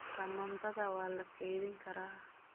Tamaandhada waa la kaydin karaa.